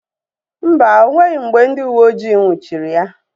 Mba, o nweghị mgbe ndị uweojii nnwuchiri ya